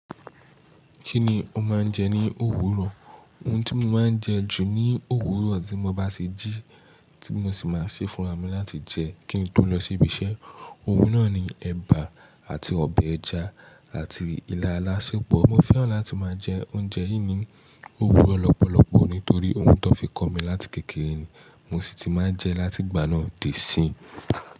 Kí ni o máa ń jẹ ní òwúrọ̀? Ohun tí mo máa ń jẹ jù ní òwúrọ̀ tí mo bá ti jí, tí mo sì máa ṣe fún ara mi láti jẹ kí n tó lọ sí ibi iṣẹ́, ohun náà ni ẹ̀bà àti ọbẹ̀ ẹja àti ilá alásèpọ̀. Mo fẹ́ràn láti máa jẹ oúnjẹ yìí ní òwúrọ̀ lọ́pọ̀lọpọ̀ nítorí ohun tó fi kọ́ mi láti kékeré ni mo sì ti máa ń jẹ láti ìgbà náà di síìyín.